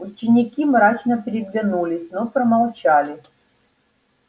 ученики мрачно переглянулись но промолчали